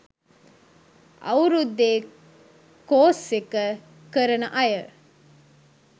අවුරුද්දෙ course එක කරන අය